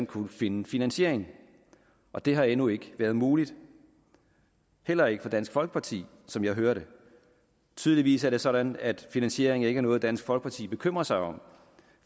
kunne finde finansiering og det har endnu ikke været muligt heller ikke for dansk folkeparti som jeg hører det tydeligvis er det sådan at finansiering ikke er noget dansk folkeparti bekymrer sig om